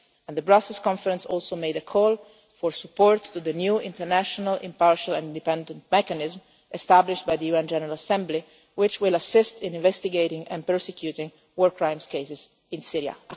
Syria. The Brussels Conference also made a call for support to the new International, Impartial and Independent Mechanism', established by the UN General Assembly, which will assist in investigating and prosecuting war crimes cases in